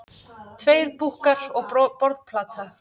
Tveir búkkar og borðplata.